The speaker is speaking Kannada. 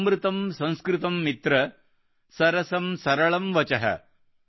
ಅಮೃತಮ್ಸಂಸ್ಕೃತಮ್ ಮಿತ್ರ ಸರಸಮ್ ಸರಳಮ್ ವಚಃ